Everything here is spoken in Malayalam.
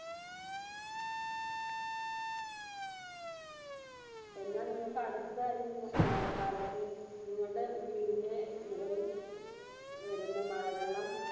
എന്ന നിങ്ങൾക് അടുത്ത ഈ ഉം മഴക്കാലത്തു നിങ്ങൾടെ വീടിന്റെ മുകളിൽ വരുന്ന മഴവെള്ളം